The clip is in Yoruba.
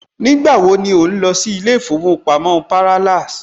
Nígbà wo ni ò ń lọ sí ilé ìfowópamọ́ Parallax